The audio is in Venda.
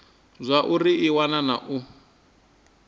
zwauri i wana na u